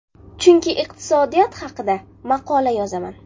Chunki iqtisodiyot haqida maqola yozaman.